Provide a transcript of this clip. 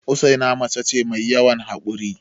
Usaina mace ce mai yawan haƙuri